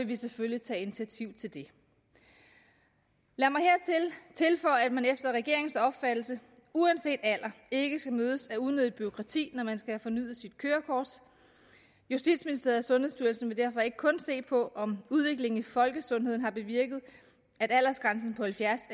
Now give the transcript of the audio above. vi selvfølgelig tage initiativ til det lad mig tilføje at man efter regeringens opfattelse uanset alder ikke skal mødes af unødigt bureaukrati når man skal have fornyet sit kørekort justitsministeriet og sundhedsstyrelsen vil derfor ikke kun se på om udviklingen af folkesundheden har bevirket at aldersgrænsen på halvfjerds